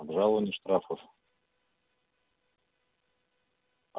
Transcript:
брауни штрафов